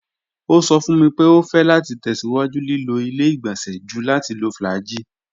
O sọ fun mi pe o fẹ lati tẹsiwaju lilo ile-igbọnsẹ ju lati lo flagyl